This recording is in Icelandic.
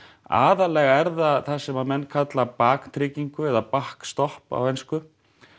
aðallega er það það sem menn kalla baktryggingu eða á ensku